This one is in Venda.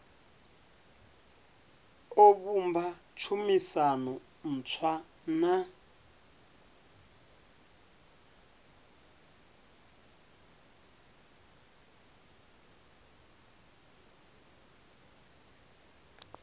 o vhumba tshumisano ntswa na